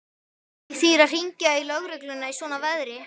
Ekki þýðir að hringja í lögregluna í svona veðri.